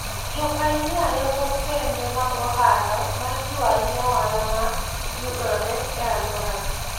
Jopainia loso kembe mag ohala ma jiwo ahinya ohala ma yudore e alworagi.